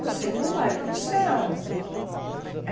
Você não vai para o céu.